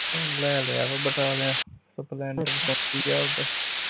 ਹੁਣ ਲੈ ਲਿਆ ਵਾ ਬਟਾਲੇ splendor ਚੌਂਤੀ ਹਜ਼ਾਰ ਦਾ